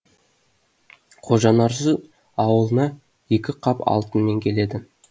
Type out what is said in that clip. қожанасыр ауылына екі қап алтынмен келеді